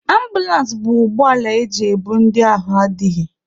Ambụlans bụ ụgbọala eji ebu ndị ahụ adịghị.